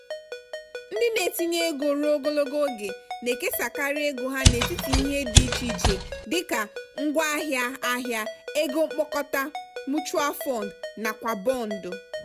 ndị na-etinye ego ruo ogologo oge na-ekesakarị ego ha n'etiti ihe dị iche iche dị ka ngwaahịa ahịa ego mkpokọta(mutual fund) nakwa bọndụ.